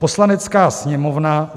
Poslanecká sněmovna